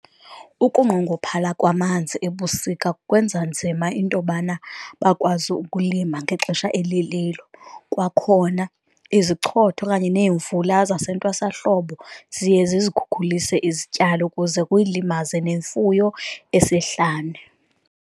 Ukunqongophala kwamanzi ebusika kwenza nzima intobana bakwazi ukulima ngexesha elililo, kwakhona izichotho okanye neemvula zasentwasahlobo ziye zizikhulise izityalo kuze kuyilimaze nemfuyo esihlane.